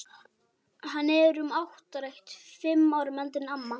Hann er um áttrætt, fimm árum eldri en amma.